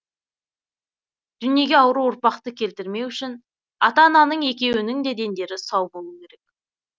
дүниеге ауру ұрпақты келтірмеу үшін ата ананың екеуінің де дендері сау болу керек